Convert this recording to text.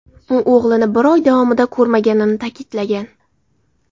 U o‘g‘lini bir oy davomida ko‘rmaganini ta’kidlagan.